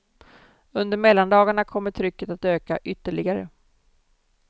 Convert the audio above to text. Under mellandagarna kommer trycket att öka ytterligare.